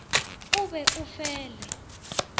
o be o fe le